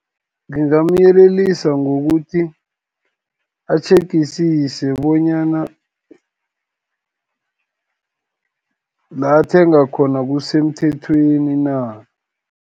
Ngingamyelelisa ngokuthi, atjhegisise bonyana la athenga khona kusemthethweni na.